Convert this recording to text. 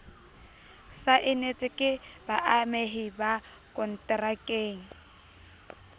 saenetswe ke baamehi ba konterakeng